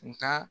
Nga